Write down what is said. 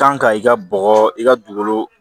Kan ka i ka bɔgɔ i ka dugukolo